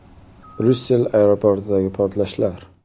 Bryussel aeroportidagi portlashlar.